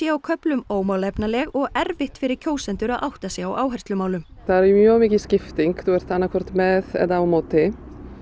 á köflum ómálefnaleg og erfitt fyrir kjósendur að átta sig á áherslumálum það er mjög mikil skipting þú ert annað hvort með eða á móti